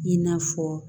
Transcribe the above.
I n'a fɔ